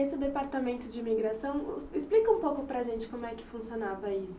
Esse departamento de imigração, explica um pouco para a gente como é que funcionava isso.